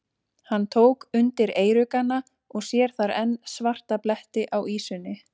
Hann tók undir eyruggana og sér þar enn svarta bletti á ýsunni.